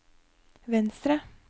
venstre